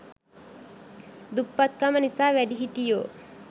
දුප්පත්කම නිසා වැඩිහිටියෝ